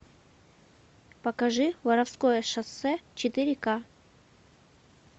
покажи воровское шоссе четыре ка